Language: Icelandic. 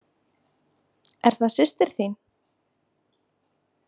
Er það systir þín?